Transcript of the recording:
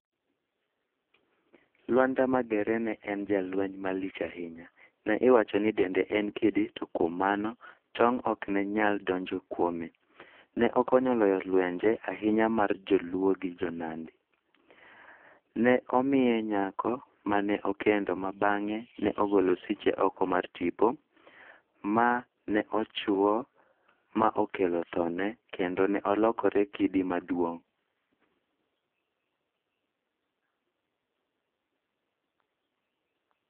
Lwanda Magere ne en jalweny malich ahinya. Ne iwacho ni dende ne en kidi to kuom mano tong' ok ne nyal donjo kuome. Ne okonyo loyo lwenje ahinya mar joluo gi jo nandi. Ne omiye nyako mane okendo ma bange ne ogolo siche oko mar tipo ma ne ochuo ma okelo thone kendo ne olokore kidi maduong'.